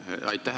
Aitäh!